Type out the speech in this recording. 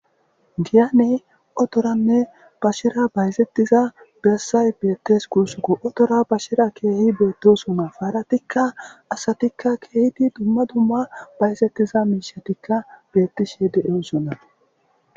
Diyane otoranne bashera bayzettiza bersay beettes kursuko otora bashera keehi beettesuma faaratikka asatikka keehidi dumma dumma bayzattiza miishatikka beettishe de7eosona.